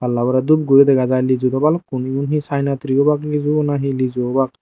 palla bore dup guri dega jai lijue daw balukkun igun hi sayena tri obak liju nahi liju obak.